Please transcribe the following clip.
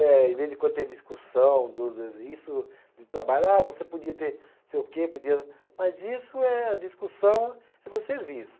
Eh, em vez em quando tem discussão dos, isso de trabalho, ah você podia ter, sei o quê, podia, mas isso é discussão do serviço.